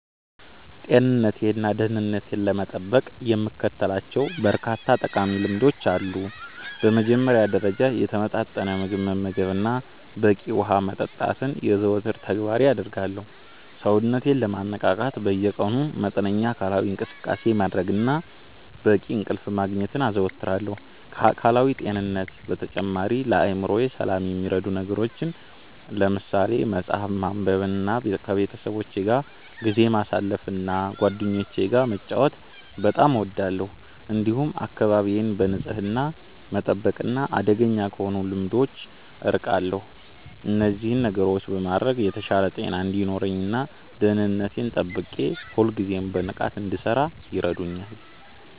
ጤንነቴንና ደህንነቴን ለመጠበቅ የምከተላቸው በርካታ ጠቃሚ ልምዶች አሉ። በመጀመሪያ ደረጃ፣ የተመጣጠነ ምግብ መመገብንና በቂ ውሃ መጠጣትን የዘወትር ተግባሬ አደርጋለሁ። ሰውነቴን ለማነቃቃት በየቀኑ መጠነኛ አካላዊ እንቅስቃሴ ማድረግንና በቂ እንቅልፍ ማግኘትን አዘወትራለሁ። ከአካላዊ ጤንነት በተጨማሪ፣ ለአእምሮዬ ሰላም የሚረዱ ነገሮችን ለምሳሌ መጽሐፍ ማንበብንና ከቤተሰቦቼ ጋር ጊዜ ማሳለፍን እና ጓደኞቼ ጋር መጫወት በጣም እወዳለሁ። እንዲሁም አካባቢዬን በንጽህና መጠበቅና አደገኛ ከሆኑ ልምዶች አርቃለሁ። እነዚህን ነገሮች በማድረግ የተሻለ ጤና እንዲኖረኝ እና ደህንነቴን ጠብቄ ሁልጊዜም በንቃት እንድሠራ ይረዱኛል።